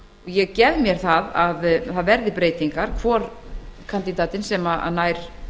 ég gef mér að það verði breytingar hvor kandídatinn sem nær